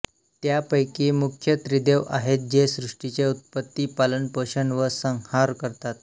त्यापैकी मुख्य त्रिदेव आहेत जे सृष्टीचे उत्पत्ती पालनपोषण व संहार करतात